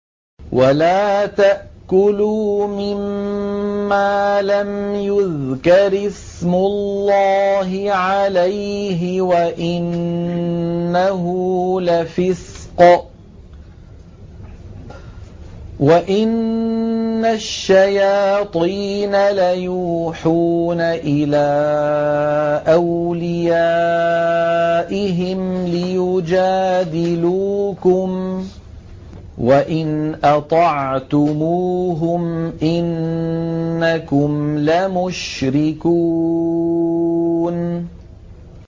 وَلَا تَأْكُلُوا مِمَّا لَمْ يُذْكَرِ اسْمُ اللَّهِ عَلَيْهِ وَإِنَّهُ لَفِسْقٌ ۗ وَإِنَّ الشَّيَاطِينَ لَيُوحُونَ إِلَىٰ أَوْلِيَائِهِمْ لِيُجَادِلُوكُمْ ۖ وَإِنْ أَطَعْتُمُوهُمْ إِنَّكُمْ لَمُشْرِكُونَ